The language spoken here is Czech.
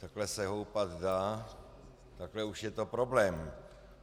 Takhle se houpat dá, takhle už je to problém.